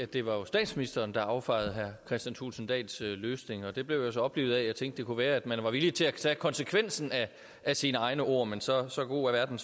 det var statsministeren der affejede herre kristian thulesen dahls løsning det blev jeg så oplivet af at jeg tænkte det kunne være at man var villig til at tage konsekvensen af sine egne ord men så så god er verden